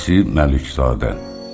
İsi Məlikzadə.